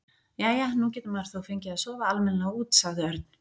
Jæja, nú getur maður þó fengið að sofa almennilega út sagði Örn.